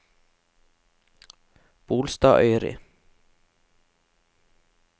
Bolstadøyri